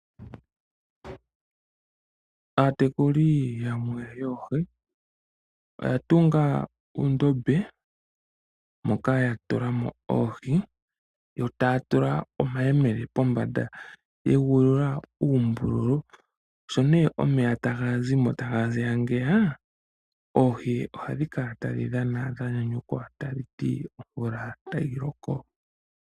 Aatekuli yamwe yoohi oya tunga oondombe, moka ya tula mo oohii, yo ta ya tula omahemele po mbanda ye ga uulula uumbululu. Sho nee omeya ta ga zimo ta ga ziya ngeya, oohi ohadhi kala tadhi dhana dhanyanyukwa ta dhiti omvula ta yi loko.